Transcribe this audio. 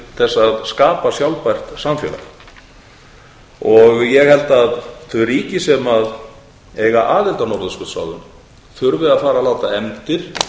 þess að skapa sjálfbært samfélag ég held að þau ríki sem eiga aðild að norðurskautsráðinu þurfi að fara að láta efndir